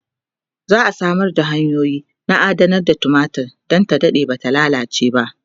za'a Samar da hanyoyi na adanar tumatir Dan ta Dade Bata lallace ba